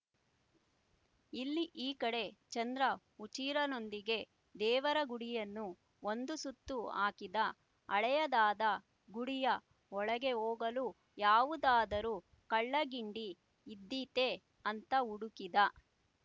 ಇಲ್ಲಿ ಈ ಕಡೆ ಚಂದ್ರ ಹುಚ್ಚೀರನೊಂದಿಗೆ ದೇವರಗುಡಿಯನ್ನು ಒಂದು ಸುತ್ತು ಹಾಕಿದ ಹಳೆಯದಾದ ಗುಡಿಯ ಒಳಗೆ ಹೋಗಲು ಯಾವುದಾದರೂ ಕಳ್ಳಗಿಂಡಿ ಇದ್ದೀತೆ ಅಂತ ಹುಡುಕಿದ